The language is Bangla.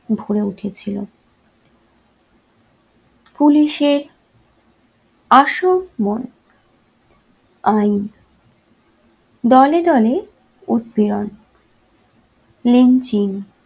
ভরে উঠেছিল। police এর আইন দলে দলে উৎপীড়ণ lynching